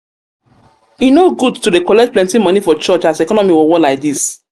e no good to dey collect plenty moni for church as economy worwor lai dis.